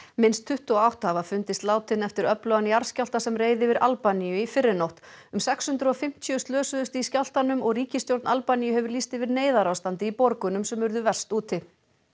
minnst tuttugu og átta hafa fundist látin eftir öflugan jarðskjálfta sem reið yfir Albaníu í fyrrinótt um sex hundruð og fimmtíu slösuðust í skjálftanum og ríkisstjórn Albaníu hefur lýst yfir neyðarástandi í borgunum sem urðu verst úti